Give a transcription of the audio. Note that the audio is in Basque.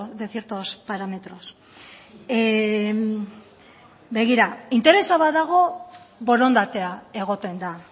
de ciertos parámetros begira interesa badago borondatea egoten da